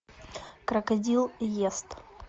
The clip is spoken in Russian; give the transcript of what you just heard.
крокодил ест